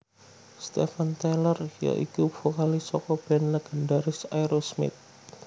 Steven Tyler ya iku vokalis saka band légendharis Aerosmith